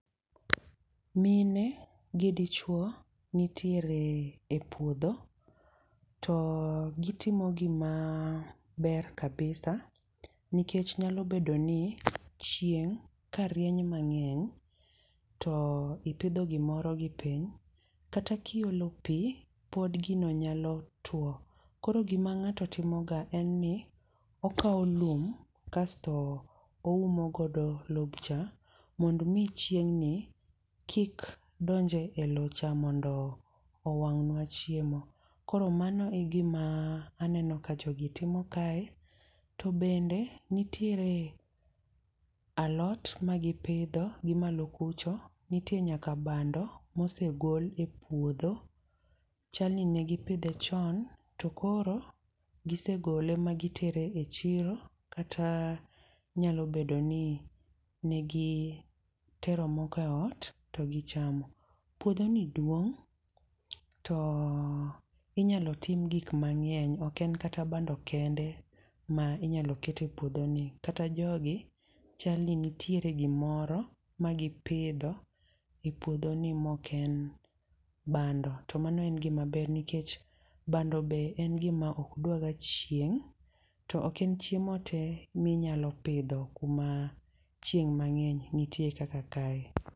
Mine gi dichuo nitiere e puodho. To gitimo gimaber kabisa. Nikech nyalo bedo ni chieng' ka rieny mang'eny to ipidho gimoro gi piny, kata kiolo pi, pod gino nyalo tuo. Koro gima ng'ato timoga en ni okaw lum, kasto oumo godo lobcha, mondo mi chieng' ni kik donje e lowcha mondo owang'ne chiemo. Koro mano e gima aneno ka jogi timo kae, to bende nitiere alot ma gipidho gimalo kucho. Nitie nyaka bando mosegol e puodho. Chalni negipidhe chon to koro gisegole ma gitere e chiro, kata nyalo bedo ni negitero moko e ot to gichamo. Puodho ni duong' to inyalo tim gik mang'eny ok en kata bando kende ma inyalo kete puodho ni. Kata jogi, chalni nitiere gimoro ma gapidho e puodho ni moken bando. To mano en gima ber nikech bando be en gima okdwaga chieng' to ok en chiemo te minyalo pidho kuma chieng' mang'eny nitie kaka kae.